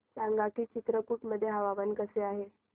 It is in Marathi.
सांगा की चित्रकूट मध्ये हवामान कसे आहे